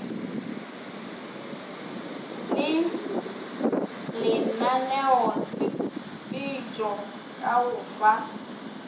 le lenaneotshepetšo ka go fa